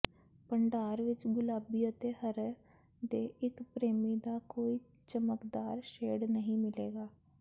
ਭੰਡਾਰ ਵਿੱਚ ਗੁਲਾਬੀ ਅਤੇ ਹਰਾ ਦੇ ਇੱਕ ਪ੍ਰੇਮੀ ਦਾ ਕੋਈ ਚਮਕਦਾਰ ਸ਼ੇਡ ਨਹੀਂ ਮਿਲੇਗਾ